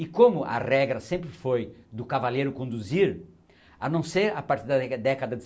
E como a regra sempre foi do cavaleiro conduzir, a não ser a partir da década